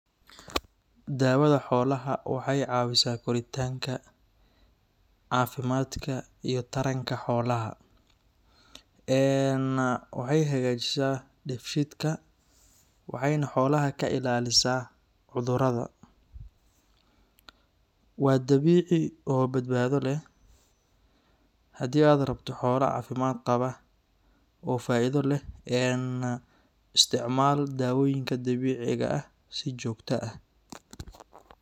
Daawada xoolaha waxay caawisaa koritaanka, caafimaadka iyo taranka xoolaha. Eeen waxay hagaajisaa dheefshiidka, waxayna xoolaha ka ilaalisaa cudurrada. Waa dabiici oo badbaado leh. Haddii aad rabto xoolo caafimaad qaba oo faa’iido leh, een isticmaal daawooyinka dabiiciga ah si joogto ah.